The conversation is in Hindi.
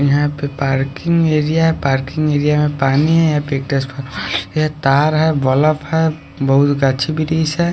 यहां पे पार्किंग एरिया है। पार्किंग एरिया में पानी है यहां पे एक तार है बल्ब है बहोत अच्छी ब्रिज है।